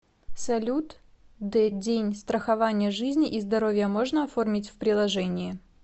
салют д день страхование жизни и здоровья можно оформить в приложении